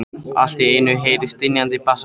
Allt í einu heyrist drynjandi bassarödd.